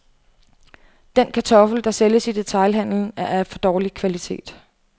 Den kartoffel der sælges i detailhandelen, er af for dårlig kvalitet.